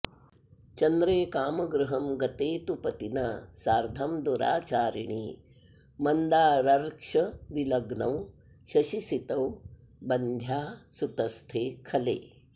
चन्द्रे कामगृहं गते तु पतिना सार्द्धं दुराचारिणी मन्दारर्क्षविलग्नौ शशिसितौ बन्ध्या सुतस्थे खले